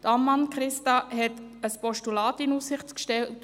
Grossrätin Ammann hat ein Postulat in Aussicht gestellt.